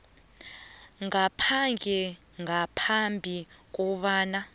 ngaphandle ngaphambi kobana